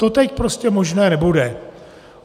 To teď prostě možné nebude.